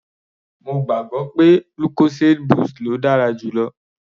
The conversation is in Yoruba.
Mo gbàgbọ́ pé lucozade boost ló dára jù lọ.